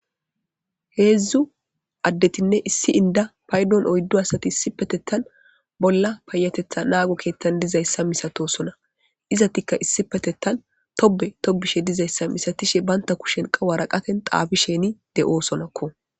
Heedzdzu addetinne issi inda paydon oyddo asati issi petettan bolla payatetha naago keettan dizayssa misato sona izatikka issi petettan tobe tobishe dizayssa misatishe baynta kushenqa waraqaten xaabi sheni de'o sonakko.